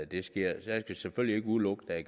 det sker jeg kan selvfølgelig ikke udelukke at